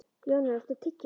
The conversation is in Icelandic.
Jónar, áttu tyggjó?